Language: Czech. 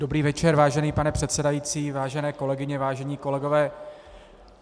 Dobrý večer, vážený pane předsedající, vážené kolegyně, vážení kolegové.